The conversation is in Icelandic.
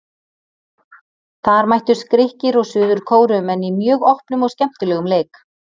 Þar mættust Grikkir og Suður Kóreumenn í mjög opnum og skemmtilegum leik.